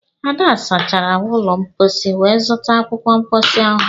Ada sachara ụlọ mposi wee zụta akwụkwọ mposi ọhụrụ